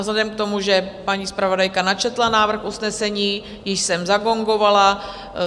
Vzhledem k tomu, že paní zpravodajka načetla návrh usnesení, již jsem zagongovala.